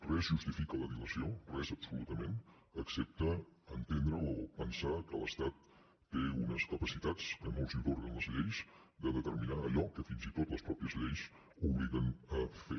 res justifica la dilació res absolutament excepte entendre o pensar que l’estat té unes capacitats que no li atorguen les lleis de determinar allò que fins i tot les mateixes lleis obliguen a fer